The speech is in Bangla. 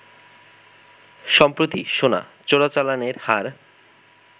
সম্প্রতি সোনা চোরাচালানের হার